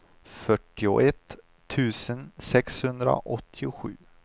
fyrtioett tusen sexhundraåttiosju